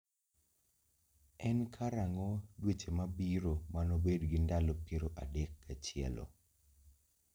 En karang'o dweche mabiro manobed gi ndalo piero adek gachielo